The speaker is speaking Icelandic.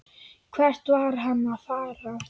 Hvert var hann að fara?